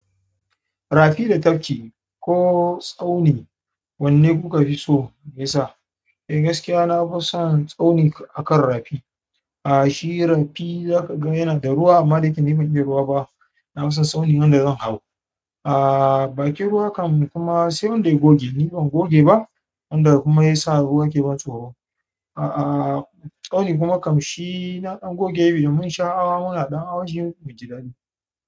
Rafi da tafki ko tsauni, wanna ku ka fi so? Meyasa? Eh gaskiya na fi son tsauni akan rafi. A'a shi rafi zaka ga yana da ruwa amma da yake ni ban iya ruwa ba na fi son tsauni wanda zan hau. A'a bakin ruwa kam kuma sai wanda ya goge ni ban goge ba wanda kuma ya sa ruwa ke ban tsoro. A'a tsauni kuma kam shi na ɗan goge yo mun sha hawa muna ɗan hawan shi mu ji daɗi.